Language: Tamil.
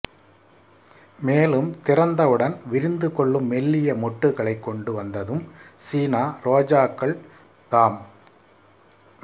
மேலும் திறந்தவுடன் விரிந்து கொள்ளும் மெல்லிய மொட்டுகளை கொண்டு வந்ததும் சீனா ரோஜாக்கள் தாம்